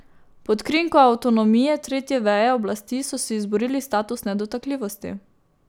Pod krinko avtonomije tretje veje oblasti so si izborili status nedotakljivosti.